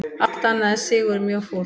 Allt annað en sigur mjög fúlt